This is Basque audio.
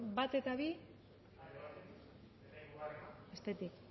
bat eta bi bestetik